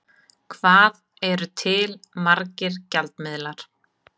Hvað eru til margir gjaldmiðlar?